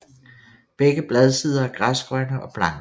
Begge bladsider er græsgrønne og blanke